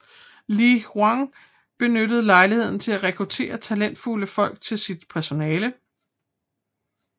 Li Yuan benyttede lejligheden til at rekruttere talentfulde folk til sit personale